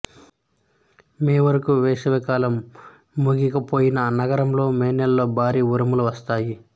మే వరకు వేసవి కాలం ముగియకపోయినా నగరంలో మే నెలలో భారీ ఉరుములు వస్తాయి